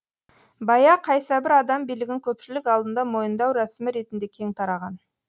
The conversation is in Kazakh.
байа қайсыбір адам билігін көпшілік алдында мойындау рәсімі ретінде кең тараған